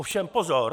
Ovšem pozor!